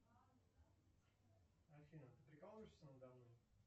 афина ты прикалываешься надо мной